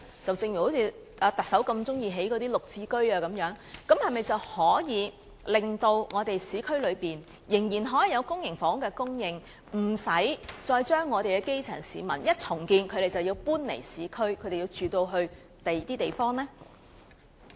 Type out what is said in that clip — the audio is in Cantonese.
行政長官希望興建更多"綠置居"的同時，是否可以令市區仍然有公營房屋供應，讓基層市民無需在重建時便要搬離市區，遷往其他地方？